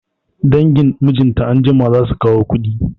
Dangin mijinta anjima zasu kawo kuɗi